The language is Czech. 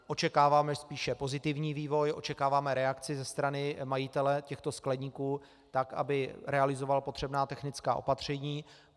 Očekáváme spíše pozitivní vývoj, očekáváme reakci ze strany majitele těchto skleníků tak, aby realizoval potřebná technická opatření.